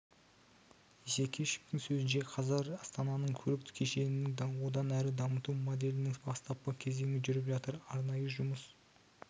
исекешевтің сөзінше қазір астананың көлік кешенің одан әрі дамыту моделінің бастапқы кезеңі жүріп жатыр арнайы жұмыс